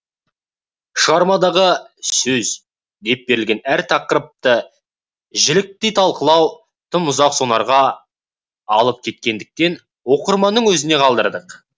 шығармадағы сөз деп берілген әр тақырыпты жіліктей талқылау тым ұзақ сонарға алып кететіндіктен оқырманның өзіне қалдырдық